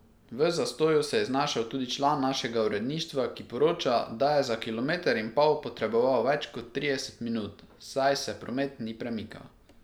V zastoju se je znašel tudi član našega uredništva, ki poroča, da je za kilometer in pol potreboval več kot trideset minut, saj se promet ni premikal.